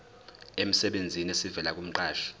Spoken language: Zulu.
emsebenzini esivela kumqashi